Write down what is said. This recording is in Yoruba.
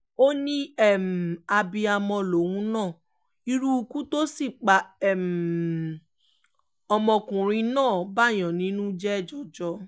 ó ní abiyamọ lòun náà irú ikú tó sì pa ọmọkùnrin náà báàyàn nínú jẹ́ jọjọ